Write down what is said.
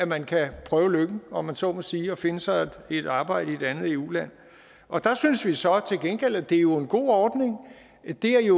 man kan prøve lykken om man så må sige og finde sig et arbejde i et andet eu land og der synes vi så til gengæld at det jo er en god ordning det er